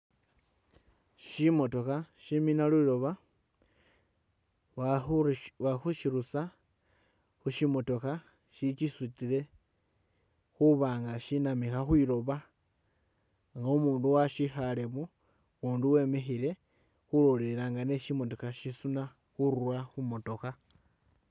Shimotookha shimina lilooba bakhuru bali khushirusa khushimotookha shikisutile khuba nga shinamikha khwilooba nga umundu washikhaalemo, ukundi wemikhile khulolelela nga ni shimotooka shisuna khurura khu motookha.